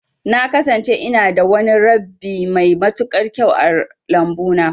Na kasance ina da wani rabbi mai matuƙar kyau a lambu na.